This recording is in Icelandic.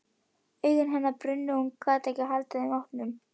Augu hennar brunnu og hún gat ekki haldið þeim opnum.